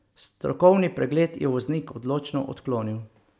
Strokovni pregled je voznik odločno odklonil.